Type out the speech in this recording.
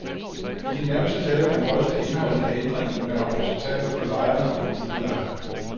I de nærmeste dage vil han drøfte indholdet af ændringen med repræsentanter for lejerne og udlejerne.